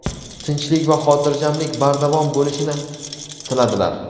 tinchlik va hotirjamlik bardavom bo‘lishini tiladilar.